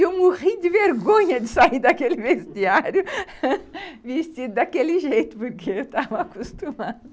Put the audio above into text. E eu morri de vergonha de sair daquele vestiário, vestido daquele jeito, porque eu estava acostumada